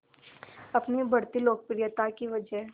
अपनी बढ़ती लोकप्रियता की वजह